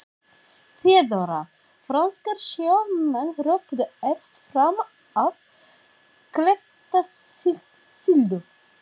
THEODÓRA: Franskir sjómenn hröpuðu efst fram af klettasyllu.